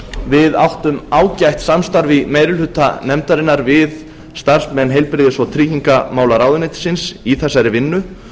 við áttum ágætt samstarf í meiri hluta nefndarinnar við starfsmenn heilbrigðis og tryggingamálaráðuneytisins í þessari vinnu